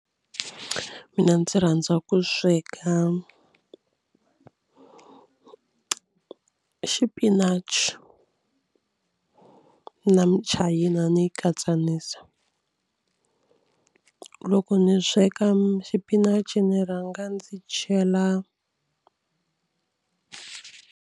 Mina ndzi rhandza ku sweka xipinachi na michayina ni yi katsanisa. Loko ni sweka xipinachi ni rhanga ndzi chela.